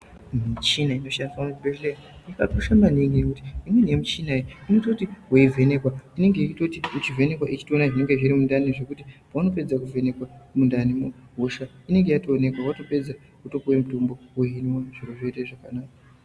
Michina inoshandiswa kuzvibhehleya yakakosha maningi nekuti imweni michina unototi weivhenekwa yeitora zvinenge zvirikundani zvekuti paunopedza kuvhenekwa mundanimo hosha inenge yatoonekwa watopeedza wotopuwa mitombo weimwa zviro zvoita zvakanaka.